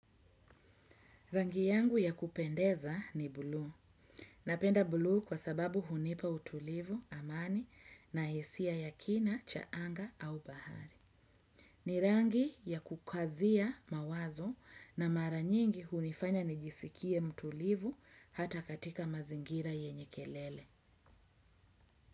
Rangi yangu ya kupendeza ni bluu. Napenda bluu kwa sababu hunipa utulivu amani na hisia ya kina chaanga au bahari. Ni rangi ya kukazia mawazo na mara nyingi hunifanya nijisikie mtulivu hata katika mazingira yenye kelele.